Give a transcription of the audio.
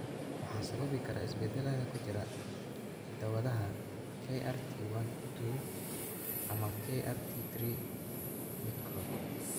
Waxaa sababi kara isbeddellada ku jira hidda-wadaha KRT12 ama KRT3 midkood.